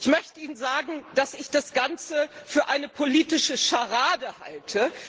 Ich möchte Ihnen sagen, dass ich das Ganze für eine politische Scharade halte.